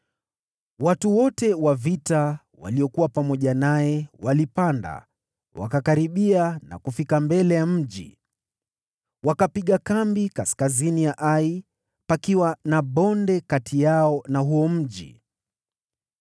Watu wote wa vita waliokuwa pamoja naye walipanda, wakakaribia na kufika mbele ya mji. Wakapiga kambi kaskazini mwa Ai, pakiwa na bonde kati yao na huo mji.